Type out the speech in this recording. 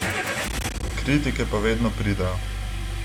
Kritike pa vedno pridejo.